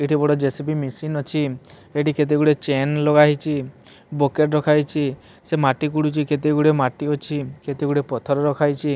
ଏଠି ବଡ JCB machine ଅଛି ଏଠି କେତେଗୁଡିଏ ଚେନ୍ ଲଗାହେଇଚି ବକେଟ୍ ରଖାହେଇଛି ସେ ମାଟି କୁଡୁଚି କେତେଗୁଡିଏ ମାଟି ଅଛି କେତେଗୁଡିଏ ପଥର ରଖାଇଛି।